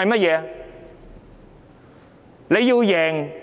若中央